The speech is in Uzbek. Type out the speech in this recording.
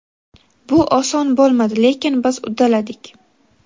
Bu oson bo‘lmadi, lekin biz uddaladik.